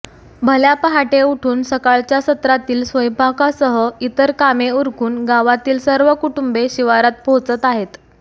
भल्या पहाटे उठून सकाळच्या सत्रातील स्वयंपाकासह इतर कामे उरकून गावातील सर्व कुटुंबे शिवारात पोहचत आहेत